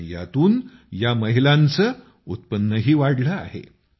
आणि यातून या महिलांचं उत्पन्न ही वाढलं आहे